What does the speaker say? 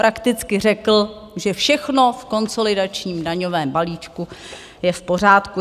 Prakticky řekl, že všechno v konsolidačním daňovém balíčku je v pořádku.